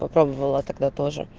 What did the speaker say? попробовала тогда тоже